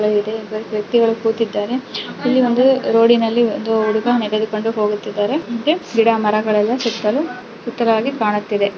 ಇಲ್ಲಿ ಚೇರ್ಗಳು ಸಹಾಯ ಇದೆ ವ್ಯಕ್ತಿಗಳ ಕೂತಿದ್ದಾರೆ ಇಲ್ಲಿ ಒಂದು ರೋಡಿನಲ್ಲಿ ಒಬ್ಬ ಹುಡುಗ ನಡೆದುಕೊಂಡು ಹೋಗುತ್ತಿದ್ದಾನೆ ಗಿಡಮರದ ಸುತ್ತಲೂ ಸುಂದರವಾಗಿ ಕಾಣುತ್ತಿದೆ.